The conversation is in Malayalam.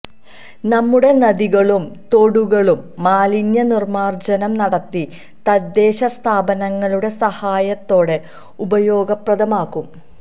നമ്മുടെ നദികളും തോടുകളും മാലിന്യ നിർമാർജ്ജനം നടത്തി തദ്ദേശ സ്ഥാപനങ്ങളുടെ സഹായത്തോടെ ഉപയോഗപ്രദമാക്കും